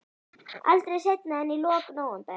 Aldrei seinna en í lok nóvember.